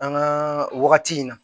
An ka wagati in na